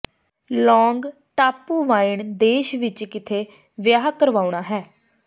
ਲੋਂਗ ਟਾਪੂ ਵਾਈਨ ਦੇਸ਼ ਵਿਚ ਕਿੱਥੇ ਵਿਆਹ ਕਰਵਾਉਣਾ ਹੈ